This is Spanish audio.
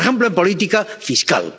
Por ejemplo, en política fiscal